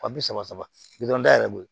Wa bi saba saba bi duuru dayɛlɛ o ye